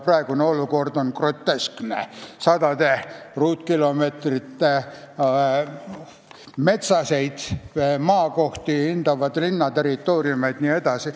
Praegune olukord on groteskne – sadu ruutkilomeetreid metsaseid maakohti hõlmavad linnaterritooriumid jne.